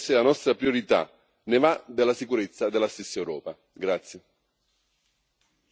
Mantenere la pace nella regione deve essere la nostra priorità ne va della sicurezza della stessa Europa.